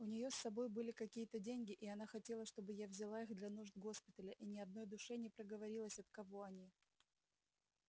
у неё с собой были какие-то деньги и она хотела чтобы я взяла их для нужд госпиталя и ни одной душе не проговорилась от кого они